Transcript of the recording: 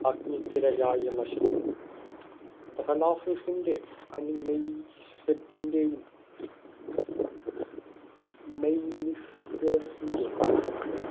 അഗ്നിക്കിരയായി നശിച്ചു രണാഫിസിന്റെ ഷ്യത്തിന്റെയും ന്റെ